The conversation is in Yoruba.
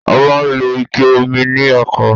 A máa ń lo Ike omi ní oko